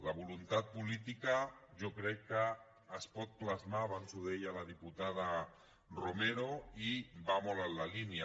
la voluntat política jo crec que es pot plasmar abans ho deia la diputada romero i va molt en la línia